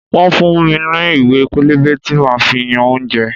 Wọ́n fún mi ní ìwé pélébé tí máa fi yan oúnjẹ.